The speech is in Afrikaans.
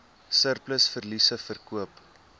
surplus verliese verkoop